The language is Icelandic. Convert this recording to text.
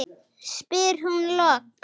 spyr hún loks.